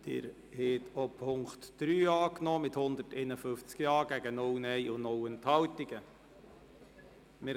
Sie haben den Punkt 3 mit 151 Ja- gegen 0 Nein-Stimmen bei 0 Enthaltungen angenommen.